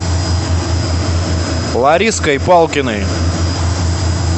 лариской палкиной